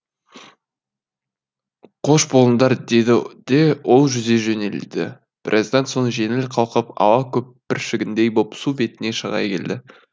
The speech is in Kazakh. қош болыңдар деді де ол жүзе жөнелді біраздан соң жеңіл қалқып ауа көпіршігіндей боп су бетіне шыға келді